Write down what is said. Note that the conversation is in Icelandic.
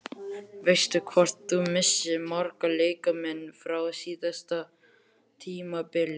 Veistu hvort þú missir marga leikmenn frá síðasta tímabili?